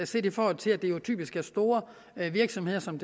set i forhold til at det jo typisk er store virksomheder som